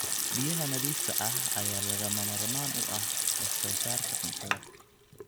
Biyaha nadiifka ah ayaa lagama maarmaan u ah wax soo saarka cuntada.